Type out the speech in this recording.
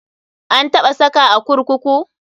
An taɓa saka a kurkuku?